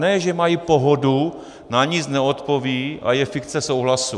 Ne že mají pohodu, na nic neodpovědí a je fikce souhlasu.